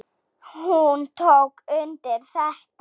Hún tók undir þetta.